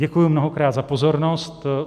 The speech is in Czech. Děkuji mnohokrát za pozornost.